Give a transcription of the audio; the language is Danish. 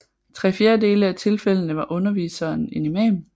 I tre fjerdedele af tilfældende var underviseren en Imam